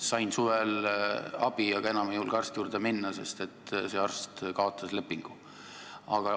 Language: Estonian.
Sain suvel abi, aga enam ei julge arsti juurde minna, sest see arst kaotas lepingu.